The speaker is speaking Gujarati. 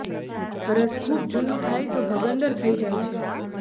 હરસ ખુબ જુનું થાય તો ભગંદર થઇ જાય છે